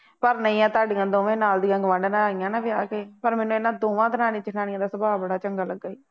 ਪਰ ਨਹੀਂ ਐਂ ਤੁਹਾਡੀਆਂ ਦੋਵੇਂ ਨਾਲ ਦੀਆਂ ਗੁਆਢਣਾਂ ਆਈਆਂ ਨਾ ਵਿਆਹ ਕੇ ਮੈਨੂੰ ਇਹਨਾ ਦੋਵਾਂ ਦਰਾਣੀਆਂ ਜੇਠਾਣੀਆਂ ਦਾ ਸੁਭਾਅ ਬੜਾ ਚੰਗਾ ਲੱਗਾ ਈ